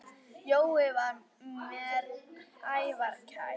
Jói var mér afar kær.